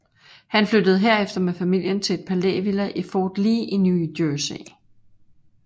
Han flyttede herefter med familien til et palævilla i Fort Lee i New Jersey